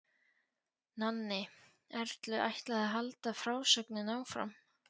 Nonni Erlu ætlaði að halda frásögninni áfram.